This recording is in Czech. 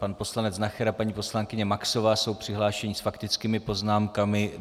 Pan poslanec Nacher a paní poslankyně Maxová jsou přihlášeni s faktickými poznámkami.